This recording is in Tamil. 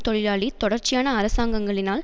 தொழிலாளளி தொடர்ச்சியான அரசாங்கங்களினால்